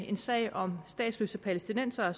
en sag om statsløse palæstinensere